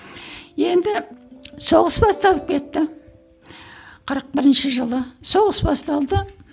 енді соғыс басталып кетті кырық бірінші жылы соғыс басталды